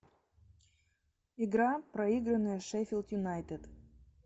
игра проигранная шеффилд юнайтед